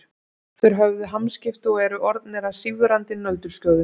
Þeir höfðu hamskipti og eru orðnir að sífrandi nöldurskjóðum.